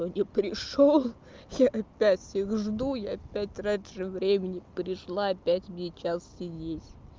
но не пришёл я опять всех жду я опять раньше времени пришла опять мне час сидеть